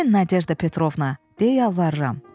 Gəlin Nadejda Petrovna, de yalvarıram.